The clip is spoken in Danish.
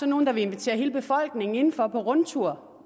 nogle der vil invitere hele befolkningen inden for på rundtur